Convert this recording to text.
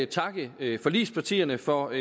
takke forligspartierne for